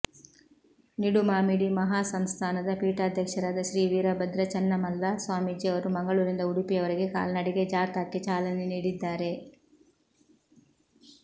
ನಿಡುಮಾಮಿಡಿ ಮಹಾಸಂಸ್ಥಾನದ ಪೀಠಾಧ್ಯಕ್ಷರಾದ ಶ್ರೀ ವೀರಭದ್ರ ಚನ್ನಮಲ್ಲ ಸ್ವಾಮೀಜಿಯವರು ಮಂಗಳೂರಿನಿಂದ ಉಡುಪಿಯವರೆಗೆ ಕಾಲ್ನಡಿಗೆ ಜಾಥಾಕ್ಕೆ ಚಾಲನೆ ನೀಡಿದ್ದಾರೆ